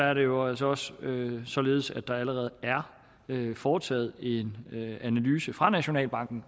er det jo altså også således at der allerede er foretaget en analyse fra nationalbankens